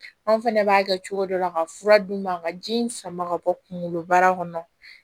Anw fɛnɛ b'a kɛ cogo dɔ la ka fura d'u ma ka ji in sama ka bɔ kunkoloba kɔnɔ